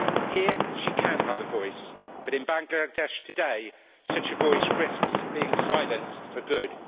Here she can have a voice, but in Bangladesh today such a voice risks being silenced for good.